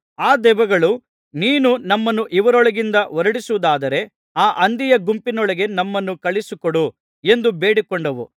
ಆ ದೆವ್ವಗಳು ನೀನು ನಮ್ಮನ್ನು ಇವರೊಳಗಿಂದ ಹೊರಡಿಸುವುದಾದರೆ ಆ ಹಂದಿಯ ಗುಂಪಿನೊಳಗೆ ನಮ್ಮನ್ನು ಕಳುಹಿಸಿಕೊಡು ಎಂದು ಬೇಡಿಕೊಂಡವು